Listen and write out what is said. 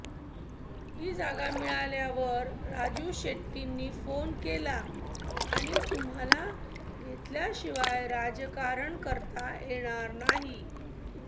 ही जागा मिळाल्यावर राजू शेट्टींनी फोन केला आणि तुम्हाला घेतल्याशिवाय राजकारण करता येणार नाही